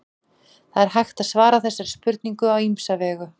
það er hægt að svara þessari spurningu á ýmsa vegu